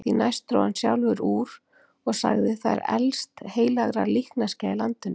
Því næst dró hann sjálfur úr og sagði:-Það er elst heilagra líkneskja í landinu.